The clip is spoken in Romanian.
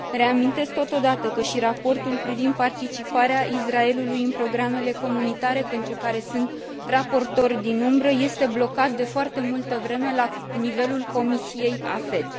Reamintesc, totodată, că și raportul privind participarea Israelului în programele comunitare, pentru care sunt raportor din umbră, este blocat, de foarte multă vreme, la nivelul Comisiei AFET.